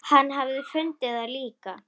Hann hafi fundið það líka.